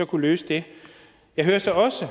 kunne løse det jeg hører så også